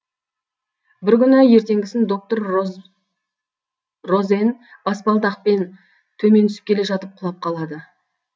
бір күні ертеңгісін доктор розен баспалдақпен төмен түсіп келе жатып құлап қалады